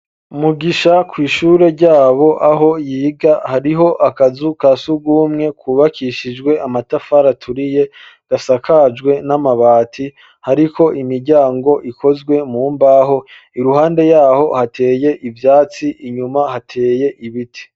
Mugisha kw'ishure ryabo aho yiga hariho akazu ka sugumwe kubakishijwe amatafari aturiye gasakajwe n'amabati ariko imiryango ikozwe mu mbaho iruhande yaho hateye ivyatsi inyuma hateye ibiti